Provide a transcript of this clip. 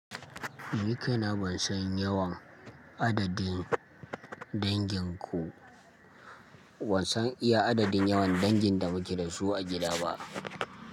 Ni kaina ban san yawan adadin dangin ku, ban san iya adadin yawan dangin da muke da su a gida ba.